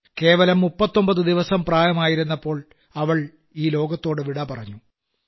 കേവലം 39 ദിവസം പ്രായമായിരുന്നപ്പോൾ അവൾ ഈ ലോകത്തോടു വിടപറഞ്ഞു